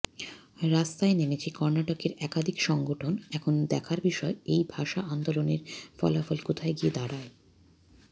রাস্তায় নেমেছে কর্নাটকের একাধিক সংগঠন এখন দেখার বিষয় এই ভাষা আন্দোলনের ফলাফল কোথায় গিয়ে দাঁড়ায়